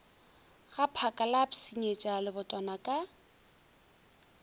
gaphaka la pshinyetša mebotwana ka